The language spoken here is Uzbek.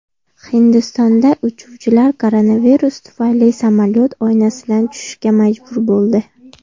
Hindistonda uchuvchilar koronavirus tufayli samolyot oynasidan tushishga majbur bo‘ldi .